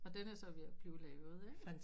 Og den er så ved at blive lavet ikke